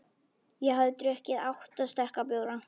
Ég hafði drukkið átta sterka bjóra.